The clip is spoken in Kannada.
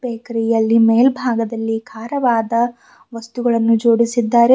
ಬೆಕ್ರಿ ಯಲ್ಲಿ ಮೆಲ್ಭಾಗದಲ್ಲಿ ಖಾರವಾದ ವಸ್ತುಗಳನ್ನು ಜೋಡಿಸಿದ್ದಾರೆ.